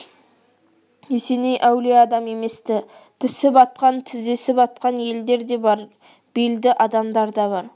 есеней әулие адам емес-ті тісі батқан тізесі батқан елдер де бар белді адамдар да бар